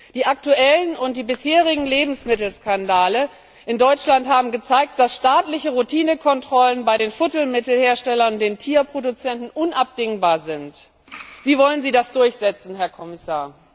Die aktuellen und die bisherigen Lebensmittelskandale in Deutschland haben gezeigt, dass staatliche Routinekontrollen bei den Futtermittelherstellern und den Tierproduzenten unabdingbar sind. Wie wollen Sie das durchsetzen, Herr Kommissar?